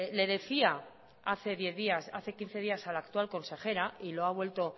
le decía hace quince días a la actual consejera y lo ha vuelto